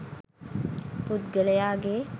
පුද්ගලයාගේ